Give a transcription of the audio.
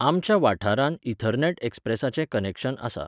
आमच्या वाठारांत इथरनॅट एक्सप्रेसाचें कनॅक्शन आसा.